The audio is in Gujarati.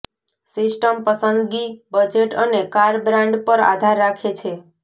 સિસ્ટમ પસંદગી બજેટ અને કાર બ્રાન્ડ પર આધાર રાખે છે